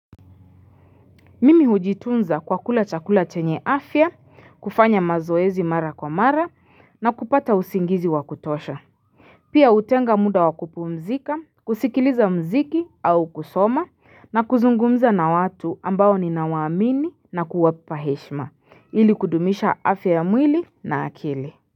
Mimi hujitunza kwa kula chakula chenye afya kufanya mazoezi mara kwa mara na kupata usingizi wa kutosha Pia hutenga muda wa kupumzika kusikiliza muziki au kusoma na kuzungumza na watu ambao ninawaamini na kuwapa heshima ili kudumisha afya ya mwili na akili.